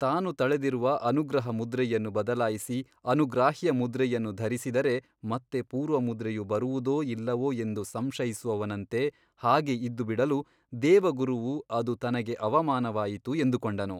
ತಾನು ತಳೆದಿರುವ ಅನುಗ್ರಹ ಮುದ್ರೆಯನ್ನು ಬದಲಾಯಿಸಿ ಅನುಗ್ರಾಹ್ಯಮುದ್ರೆಯನ್ನು ಧರಿಸಿದರೆ ಮತ್ತೆ ಪೂರ್ವಮುದ್ರೆಯು ಬರುವುದೋ ಇಲ್ಲವೋ ಎಂದು ಸಂಶಯಿಸುವವನಂತೆ ಹಾಗೆ ಇದ್ದುಬಿಡಲು ದೇವಗುರುವು ಅದು ತನಗೆ ಅವಮಾನವಾಯಿತು ಎಂದುಕೊಂಡನು.